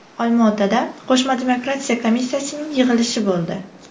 Olmaotada qo‘shma demarkatsiya komissiyasining yig‘ilishi bo‘ldi.